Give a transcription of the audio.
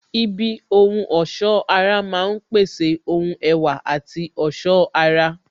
Ibi ohun ọ̀sọ́ ara máa ń pèsè ohun ẹwà àti ọ̀ṣọ́ ara